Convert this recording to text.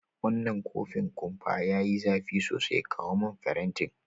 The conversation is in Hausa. Wanan kofin kumpa ya yi zafi sosai, kawo mun farenti.